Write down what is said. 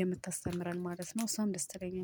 የምታስተምረን ማለት ነው እሷም ደስ ትለኛለች